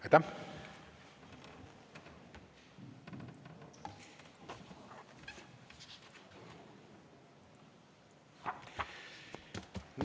Aitäh!